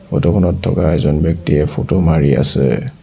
Photo খনত থকা এজন ব্যক্তিয়ে ফটো মাৰি আছে।